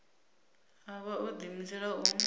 a vha o ḓiimisela u